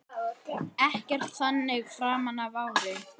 Ekkert þannig framan af ári.